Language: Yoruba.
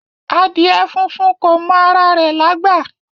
Adìẹ funfun kò mọ ara rẹ̀ lágbà